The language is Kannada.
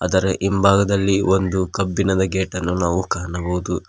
ಅದರ ಇಂಭಾಗದಲ್ಲಿ ಒಂದು ಕಬ್ಬಿಣದ ಗೇಟ್ ಅನ್ನು ನಾವು ಕಾಣಬಹುದು.